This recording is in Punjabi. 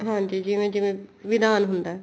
ਹਾਂਜੀ ਜਿਵੇਂ ਜਿਵੇਂ ਵਿਧਾਨ ਹੁੰਦਾ